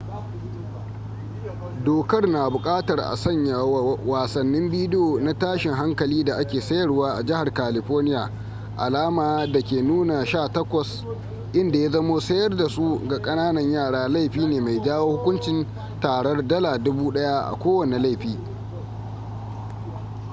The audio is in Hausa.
dokar na bukatar a sanya wa wasannin bidiyo na tashin hankali da ake sayarwa a jihar california alama da ke nuna 18 inda ya zamo sayar da su ga kananan yara laifi ne mai jawo hukuncin tarar $1000 a kowane laifi